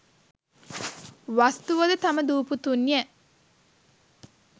වස්තුව ද තම දූ පුතුන් ය.